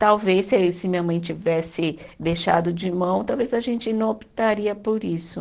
Talvez, se se a minha mãe tivesse deixado de mão, talvez a gente não optaria por isso.